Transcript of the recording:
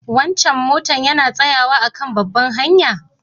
Wancan motan yana tsayawa a'kan babbar hanya?